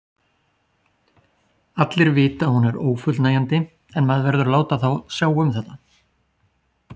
Allir vita að hún er ófullnægjandi en maður verður að láta þá sjá um þetta.